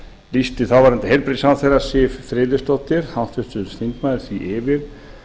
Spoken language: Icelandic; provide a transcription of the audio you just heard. lýsti þáverandi heilbrigðisráðherra siv friðleifsdóttir háttvirtur þingmaður því yfir